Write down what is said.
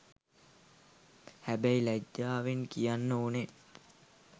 හැබැයි ලජ්ජාවෙන් කියන්න ඕනේ